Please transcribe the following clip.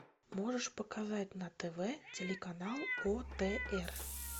можешь показать на тв телеканал отр